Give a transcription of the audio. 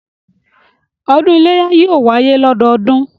Ọdún iléyá yóò wáyé lọ́dọọdún